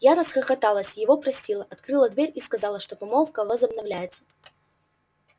я расхохоталась его простила открыла дверь и сказала что помолвка возобновляется